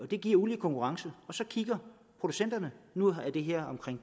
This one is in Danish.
det giver ulige konkurrence for producenterne nu har det her